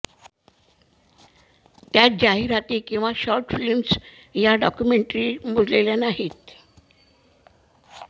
त्यात जाहिराती किंवा शॉट फिल्म्स वा डॉक्युमेंटरी मोजलेल्या नाहीत